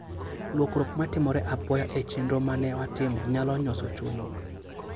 Lokruok ma timore apoya e chenro ma ne watimo nyalo nyoso chunywa.